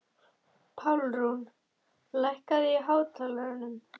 Pálrún, lækkaðu í hátalaranum.